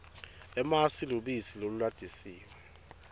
emasi lubisi lolulatisiwe